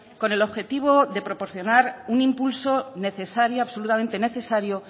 con el objetivo de proporcionar un impulso necesario absolutamente necesario